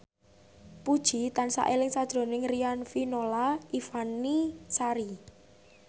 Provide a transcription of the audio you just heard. Puji tansah eling sakjroning Riafinola Ifani Sari